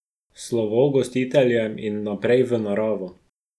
Slovo gostiteljem in naprej v naravo.